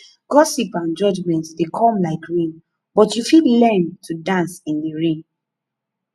gossip and judgement dey come like rain but you fit learn to dance in di rain